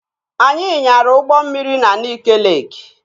Anyị nyara ụgbọ mmiri na Nike Leeki